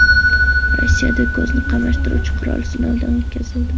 Rossiyada ko‘zni qamashtiruvchi qurol sinovdan o‘tkazildi .